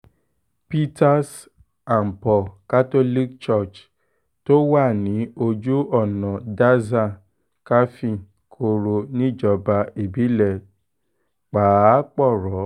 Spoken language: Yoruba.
peters and paul catholic church tó wà ní ojú ọ̀nà daza káfíń-korò níjọba ìbílẹ̀ pàápọ̀rọ́